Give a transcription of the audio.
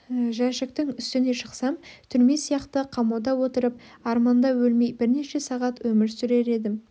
жәшіктің үстіне шықсам түрме сияқты қамауда отырып арманда өлмей бірнеше сағат өмір сүрер едім